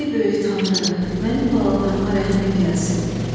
Ey böyük tanrı, mənim balalarıma rəhmin gəlsin.